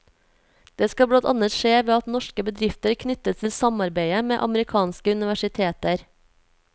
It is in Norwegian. Det skal blant annet skje ved at norske bedrifter knyttes til samarbeide med amerikanske universiteter.